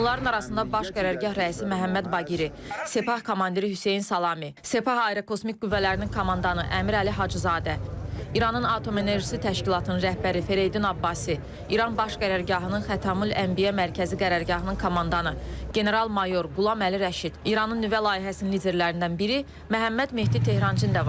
Onların arasında baş qərargah rəisi Məhəmməd Baqiri, Sepah komandiri Hüseyn Salami, Sepah Aerokosmik Qüvvələrinin komandanı Əmir Əli Hacızadə, İranın Atom Enerjisi Təşkilatının rəhbəri Fereydin Abbasi, İran Baş Qərargahının Xatamül Ənbiya Mərkəzi Qərargahının komandanı general mayor Qulam Əli Rəşid, İranın nüvə layihəsinin liderlərindən biri Məhəmməd Mehdi Tehrançı da var.